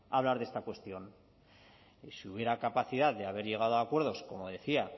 hablar de esta cuestión y si hubiera capacidad de haber llegado a acuerdos como decía